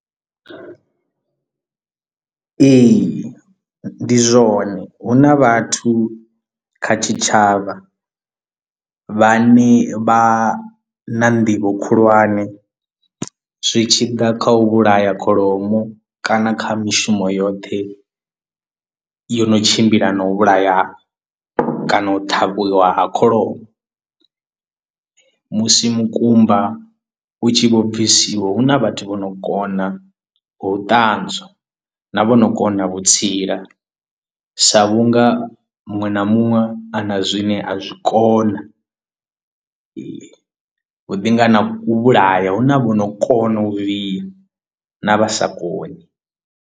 Ee ndi zwone hu na vhathu kha tshitshavha vha ne vha na nḓivho khulwane zwi tshi ḓa kha u vhulaya kholomo kana kha mishumo yoṱhe yo no tshimbila na u vhulaya kana u ṱhavhiwa ha kholomo musi mukumba u tshi vho bvisiwa hu na vhathu vho no kona ha u ṱanzwa na vhono kona vhutsila sa vhunga muṅwe na muṅwe ana zwine a zwi kona huḓi nga na u vhulaya hu na vhono kona u bvisa na vha sa koni.